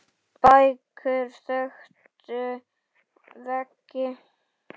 Bækur þöktu veggi.